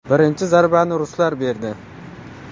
Birinchi zarbani ruslar berdi.